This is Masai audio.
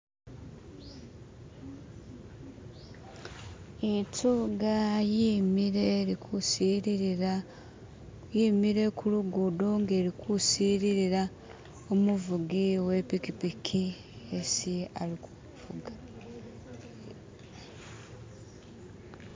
itsuga yimile ilikusilila yimile kulugudo nga eli kusililila umuvugi wepikipiki esi alikuvuga